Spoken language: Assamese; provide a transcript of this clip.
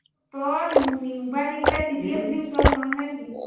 তই উম mobile নি পেলাই টিপি আছিলি ওচৰত, মনত নাই নেকি?